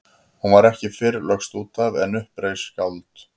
Hún var ekki fyrr lögst út af en upp reis skáld.